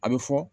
A bɛ fɔ